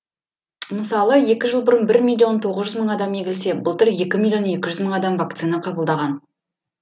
мысалы екі жыл бұрын бір миллион тоғыз жүз мың адам егілсе былтыр екі миллионекі жүз мың адам вакцина қабылдаған